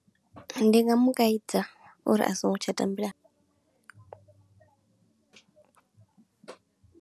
Ndi nga mu kaidza uri a songo tsha tambela.